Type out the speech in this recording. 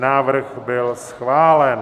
Návrh byl schválen.